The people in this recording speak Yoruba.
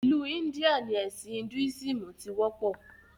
Ìlú India ni ẹ̀sìn "Hinduism" tí wọ́pọ̀